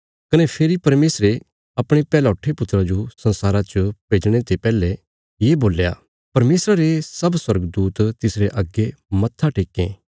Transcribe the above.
कने फेरी परमेशरे अपणे पैहलौठे पुत्रा जो संसारा च भेजणे ते पैहले ये बोल्या परमेशरा रे सब स्वर्गदूत तिसरे अग्गे मत्था टेक्कें